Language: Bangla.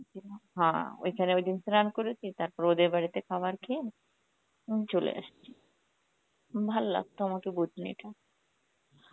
হ্যাঁ, ওইখানে ওইদিন স্নান করেছি, তারপরে ওদের বাড়িতে খাবার খেয়ে উম চলে এসছি. ভাল লাগতো আমাকে বুধ্নিতে.